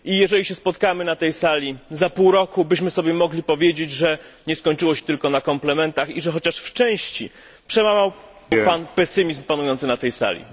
Jeżeli się spotkamy na tej sali za pół roku, byśmy mogli sobie powiedzieć, że nie skończyło się tylko na komplementach, i że chociaż w części przełamał Pan pesymizm panujący na tej sali.